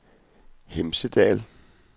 Hemsedal